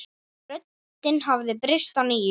Röddin hafði breyst að nýju.